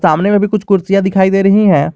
सामने में भी कुछ कुर्सियां दिखाई दे रही है।